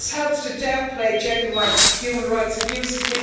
This helps to downplay genuine human rights abuses.